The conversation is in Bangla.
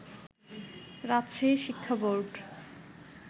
রাজশাহী শিক্ষা বোর্ড